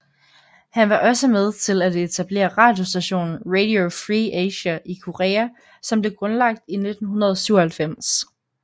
Han var også med til at etablere radiostationen Radio Free Asia i Korea som ble grundlagt i 1997